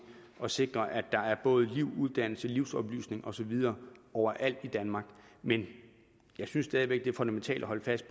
at sikre at der både er liv uddannelse og livsoplysning og så videre overalt i danmark men jeg synes stadig væk det er fundamentalt at holde fast